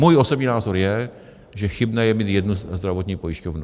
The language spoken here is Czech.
Můj osobní názor je, že chybné je mít jednu zdravotní pojišťovnu.